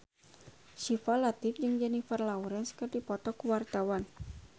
Syifa Latief jeung Jennifer Lawrence keur dipoto ku wartawan